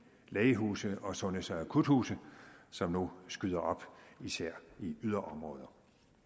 lægehuse og sundheds og akuthuse som nu skyder op især i yderområder